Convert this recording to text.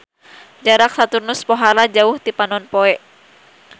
Jarak Saturnus pohara jauh ti Panonpoe.